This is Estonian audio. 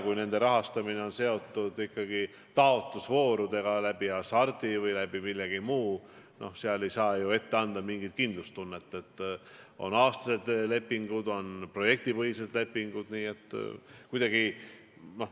Kui nende rahastamine on seotud ikkagi taotlusvoorudega Hasartmängumaksu Nõukogu või millegi muu kaudu, siis ei saa ju ette anda mingit kindlustunnet, sest on aastased lepingud, on projektipõhised lepingud.